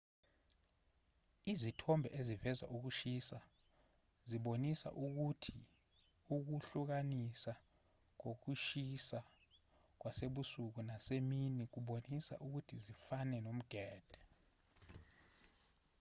izithombe eziveza ukushisa zibonisa ukuthi ukuhlukahlukana kokushisa kwasebusuku nasemini kubonisa ukuthi zifana nomgede